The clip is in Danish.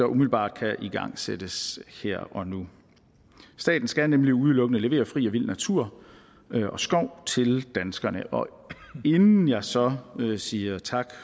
umiddelbart kan igangsættes her og nu staten skal nemlig udelukkende levere fri og vild natur og skov til danskerne og inden jeg så siger tak